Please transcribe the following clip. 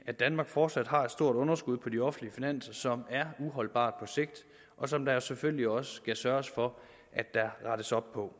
at danmark fortsat har et stort underskud på de offentlige finanser som på er uholdbart og som der jo selvfølgelig også skal sørges for at der rettes op på